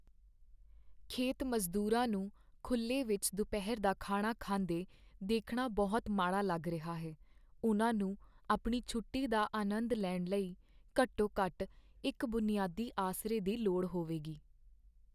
ਖੇਤ ਮਜ਼ਦੂਰਾਂ ਨੂੰ ਖੁੱਲ੍ਹੇ ਵਿੱਚ ਦੁਪਹਿਰ ਦਾ ਖਾਣਾ ਖਾਂਦੇ ਦੇਖਣਾ ਬਹੁਤ ਮਾੜਾ ਲੱਗ ਰਿਹਾ ਹੈ ਉਹਨਾਂ ਨੂੰ ਆਪਣੀ ਛੋਟੀ ਦਾ ਆਨੰਦ ਲੈਣ ਲਈ ਘੱਟੋ ਘੱਟ ਇੱਕ ਬੁਨਿਆਦੀ ਆਸਰੇ ਦੀ ਲੋੜ ਹੋਵੇਗੀ